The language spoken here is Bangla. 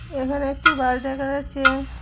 এখানে একটি বাস দেখা যাচ্ছে।